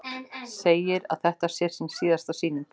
Segir að þetta sé sín síðasta sýning.